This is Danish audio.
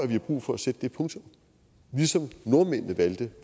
vi har brug for at sætte det punktum ligesom nordmændene valgte